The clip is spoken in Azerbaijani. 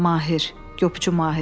Mahir, qopçu Mahir.